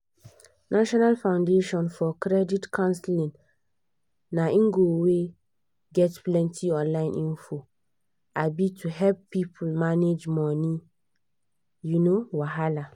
national foundation for credit counseling na ngo wey get plenty online info um to help people manage money um wahala